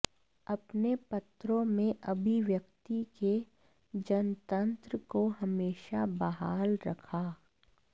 अपने पत्रों में अभिव्यक्ति के जनतंत्र को हमेशा बहाल रखा